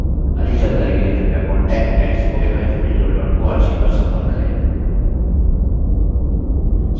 अधिक जानकारी के लिए कृपया contact @spoken hyphen tutorial dot org पर संपर्क करें